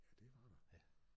Ja det var der